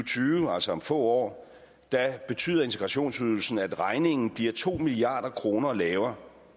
tyve altså om få år betyder integrationsydelsen at regningen bliver to milliard kroner lavere